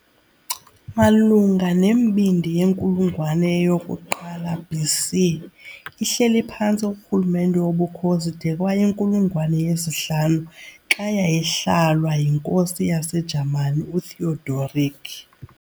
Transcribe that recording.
Malunga nembindi yenkulungwane yoku-1 BC, ihleli phantsi korhulumente woBukhosi de kwayinkulungwane ye-5, xa yayihlalwa yinkosi yaseJamani uTheodoric.